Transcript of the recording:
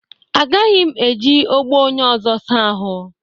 Agaghị m eji ogbo onye ọzọ saa ahụ